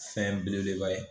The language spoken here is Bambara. Fɛn belebeleba ye.